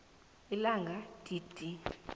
ilanga d d